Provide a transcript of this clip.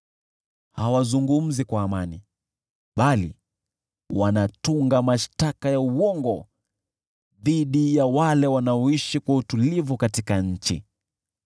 Hawazungumzi kwa amani, bali wanatunga mashtaka ya uongo dhidi ya wale wanaoishi kwa utulivu katika nchi.